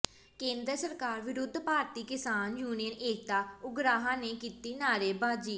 ਕੇਂਦਰ ਸਰਕਾਰ ਵਿਰੁੱਧ ਭਾਰਤੀ ਕਿਸਾਨ ਯੂਨੀਅਨ ਏਕਤਾ ਉਗਰਾਹਾਂ ਨੇ ਕੀਤੀ ਨਾਅਰੇਬਾਜ਼ੀ